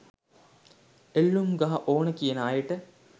එල්ලුම් ගහ ඕන කියන අයට